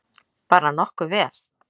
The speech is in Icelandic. Bara nokkuð vel.